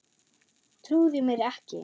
Trúði mér ekki.